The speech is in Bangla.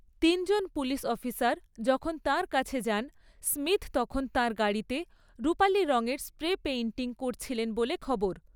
তিনজন পুলিশ অফিসার যখন তাঁর কাছে যান, স্মিথ তখন তাঁর গাড়িতে রূপালি রঙের স্প্রে পেইন্টিং করছিলেন বলে খবর।